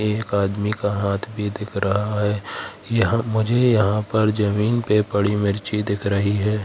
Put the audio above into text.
एक आदमी का हाथ भी दिख रहा है यहां मुझे यहां पर जमीन पे पड़ी मिर्ची दिख रही है।